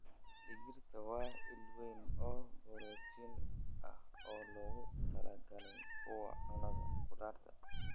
Digirta waa il weyn oo borotiin ah oo loogu talagalay kuwa cuna khudaar.